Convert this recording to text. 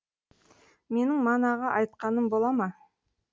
менің манағы айтқаным бола ма